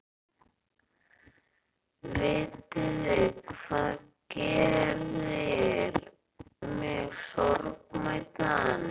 Vitiði hvað gerir mig sorgmæddan?